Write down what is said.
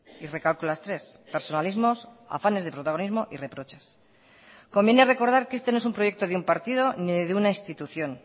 y recalco las tres personalismos afanes de protagonismo y reproches conviene recordar que este no es un proyecto de un partido ni de una institución